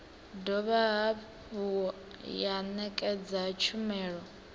dovha hafhu ya ṋekedza tshumelo